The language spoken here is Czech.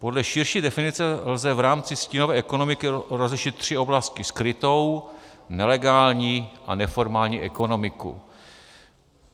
Podle širší definice lze v rámci stínové ekonomiky rozlišit tři oblasti: skrytou, nelegální a neformální ekonomiku.